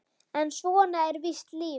En svona er víst lífið.